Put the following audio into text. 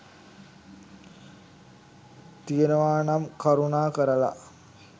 තියනවා නම් කරුණාකරලා